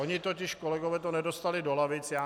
Oni totiž kolegové to nedostali do lavic.